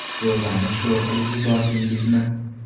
Sho‘rvani sho‘r qilib yubordingizmi?